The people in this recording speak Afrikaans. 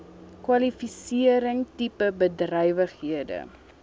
kwalifisering tipe bedrywighede